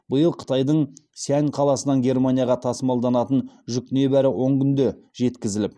биыл қытайдың сиань қаласынан германияға тасымалданатын жүк небәрі он күнде жеткізіліп